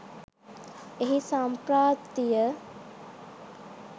එහි සම්ප්‍රාප්තිය